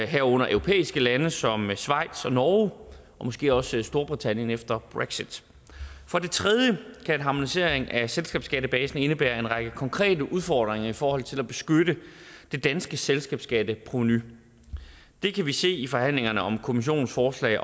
herunder europæiske lande som schweiz og norge og måske også storbritannien efter brexit for det tredje kan en harmonisering af selskabsskattebasen indebære en række konkrete udfordringer i forhold til at beskytte det danske selskabsskatteprovenu det kan vi se i forhandlingerne om kommissionens forslag